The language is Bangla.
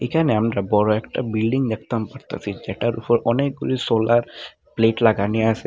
এখানে আমরা বড়ো একটা বিল্ডিং দেখতাম পারতাসি যেটার ওপর অনেকগুলি সোলার প্লেট লাগানি আসে।